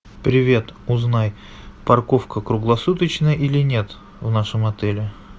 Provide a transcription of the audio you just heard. привет узнай парковка круглосуточная или нет в нашем отеле